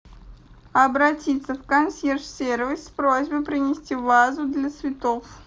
обратиться в консьерж сервис с просьбой принести вазу для цветов